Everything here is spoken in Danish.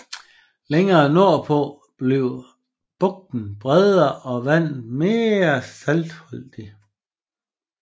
Længere nordpå bliver bugten bredere og vandet mere saltholdigt